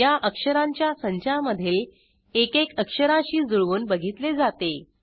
या अक्षरांच्या संचामधील एकेक अक्षराशी जुळवून बघितले जाते